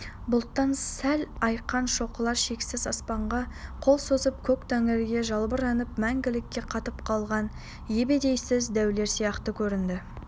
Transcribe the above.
бұлттан сәл айыққан шоқылар шексіз аспанға қол созып көк тәңірге жалбарынып мәнгілікке қатып қалған ебедейсіз дәулер сияқты көрінді